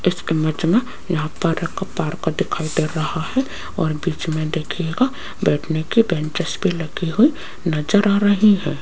इस इमेज में यहां पर एक पार्क दिखाई दे रहा है और बीच में देखिएगा बैठने की बेंचेस भी लगी हुई नजर आ रही है।